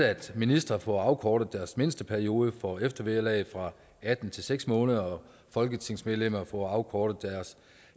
at ministre får afkortet deres mindsteperiode for eftervederlag fra atten til seks måneder og folketingsmedlemmer får afkortet deres